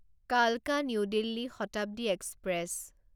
কালকা new Delhi Shatabdi express